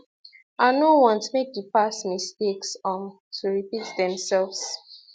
i no want make di past mistakes um to repeat themselves